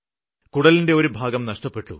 കുടലിന്റെ ഒരു ഭാഗം നഷ്ടപ്പെട്ടു